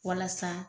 Walasa